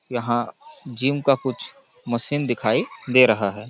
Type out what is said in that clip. यहाँ जीम का कुछ मशीन दिखाई दे रहा हैं।